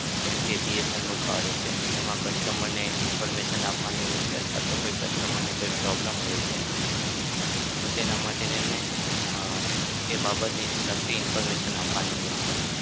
જેમ કે BSNL નું card છે તેમાં customer ને information આપવાની હોય અથવા તો કોઈ customer ને problem હોય છે તો તેના માટે તેમને હા તે બાબતને લગતી information આપવાની હોય છે.